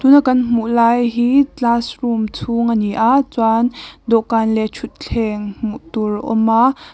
a kan hmuh lai hi classroom chhung ani a chuan dawhkan leh thutthleng hmuh tur a awm a.